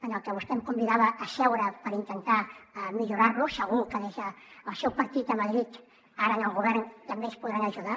en el que vostè em convidava a seure per intentar millorar lo segur que des del seu partit a madrid ara en el govern també ens podran ajudar